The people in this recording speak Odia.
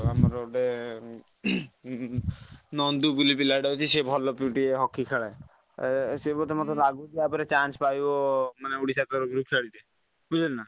ଆଉ ଆମର ଗୋଟେ ନନ୍ଦୁ ବୋଲି ପିଲାଟେ ଅଛି ସେ ଭଲ ହକି ଖେଳେ ଏ ସିଏ ବୋଧେ ମତେଲାଗୁଛି ଆପରେ ମତେ ଲାଗୁଛି chance ପାଇବା ଓଡ଼ିଶା ତରଫରୁ ଖେଲ ରେ ବୁଝିଲୁ ନା।